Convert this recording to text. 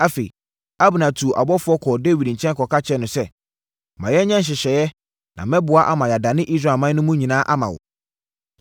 Afei, Abner tuu abɔfoɔ kɔɔ Dawid nkyɛn kɔka kyerɛɛ no sɛ, “Ma yɛnyɛ nhyehyɛeɛ na mɛboa ama yɛadane Israelman mu no nyinaa ama wo.”